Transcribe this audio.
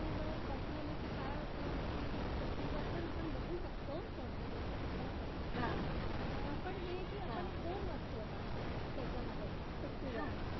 to वर बसला ना कि काय होत कि पिट्टूवर पण आपण बघू शकतो सौंदर्याचं सगळं पण हे आहे कि आता दोन वस्तू येतात त्याच्यामध्ये पिट्टूवर